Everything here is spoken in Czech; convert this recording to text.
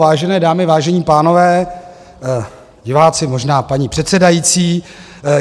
Vážené dámy, vážení pánové, diváci - možná, paní předsedající.